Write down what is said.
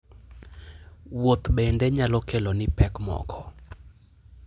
Wuoth bende nyalo keloni pek moko.